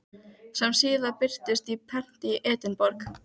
sem síðar birtust á prenti í Edinborg.